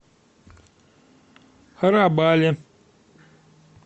харабали